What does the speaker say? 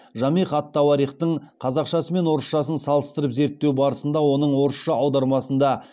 жамиғ ат тауарихтың қазақшасы мен орысшасын салыстырып зерттеу барысында оның орысша аудармасында